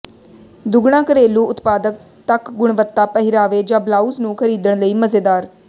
ਦੁੱਗਣਾ ਘਰੇਲੂ ਉਤਪਾਦਕ ਤੱਕ ਗੁਣਵੱਤਾ ਪਹਿਰਾਵੇ ਜ ਬਲਾਊਜ਼ ਨੂੰ ਖਰੀਦਣ ਲਈ ਮਜ਼ੇਦਾਰ